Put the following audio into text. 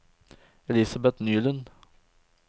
Elisabet Nylund